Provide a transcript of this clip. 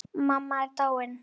Mamma er dáin.